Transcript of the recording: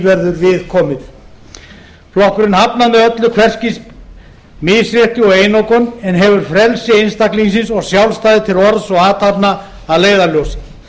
verður við komið flokkurinn hafnar með öllu hvers kyns misrétti og einokun en hefur frelsi einstaklingsins og sjálfstæði til orðs og athafna að leiðarljósi